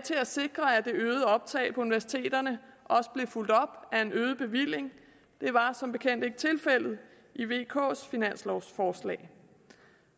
til at sikre at det øgede optag på universiteterne også blev fulgt op af en øget bevilling det var som bekendt ikke tilfældet i vks finanslovforslag